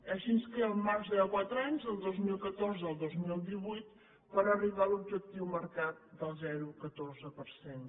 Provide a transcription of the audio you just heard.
així ens queda un marge de quatre anys del dos mil catorze al dos mil divuit per arribar a l’objectiu marcat del zero coma catorze per cent